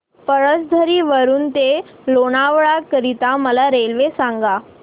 पळसधरी वरून ते लोणावळा करीता मला रेल्वे सांगा